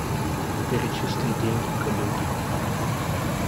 перечисли деньги коллеге